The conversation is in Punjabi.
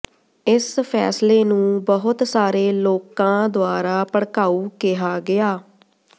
ਇਸ ਫ਼ੈਸਲੇ ਨੂੰ ਬਹੁਤ ਸਾਰੇ ਲੋਕਾਂ ਦੁਆਰਾ ਭੜਕਾਊ ਕਿਹਾ ਗਿਆ